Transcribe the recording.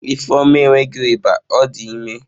Ifeoma enweghi iba,o di ime